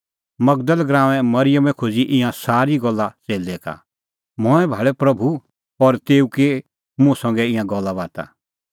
मगदल़ गराऊंए मरिअमै खोज़ी ईंयां सारी गल्ला च़ेल्लै का मंऐं भाल़अ प्रभू और तेऊ की मुंह संघै ईंयां गल्लाबाता